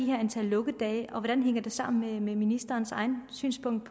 her antal lukkedage og hvordan hænger det sammen med ministerens eget synspunkt